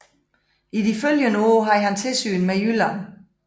I de følgende år havde han tilsyn med Jylland